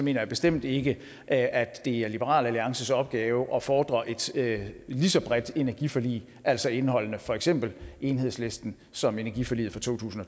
jeg bestemt ikke at at det er liberal alliances opgave at fordre et lige så bredt energiforlig altså indeholdende for eksempel enhedslisten som energiforliget fra totusinde